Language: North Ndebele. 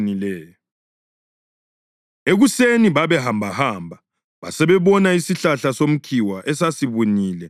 Ekuseni babehambahamba basebebona isihlahla somkhiwa esasibunile kusukela empandeni.